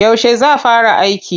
Yaushe za fara aiki?